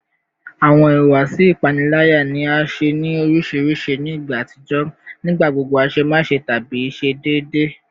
Awọn ihuwasi ipanilaya ni a ṣe ni oriṣiriṣi ni igba atijọ, nigbagbogbo aṣemáṣe tabi ṣe deede